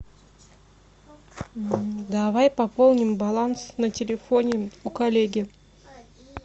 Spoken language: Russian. давай пополним баланс на телефоне у коллеги